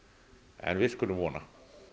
en við skulum vona